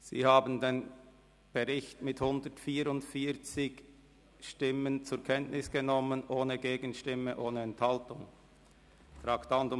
Sie haben den Bericht mit 144 Stimmen ohne Gegenstimme und ohne Enthaltung zur Kenntnis genommen.